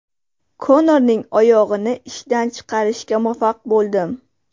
Konorning oyog‘ini ishdan chiqarishga muvaffaq bo‘ldim.